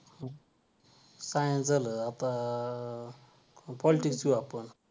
science झालं आता politics घेऊ आपण